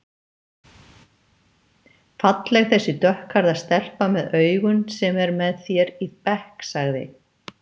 Falleg þessi dökkhærða stelpa með augun sem er með þér í bekk sagði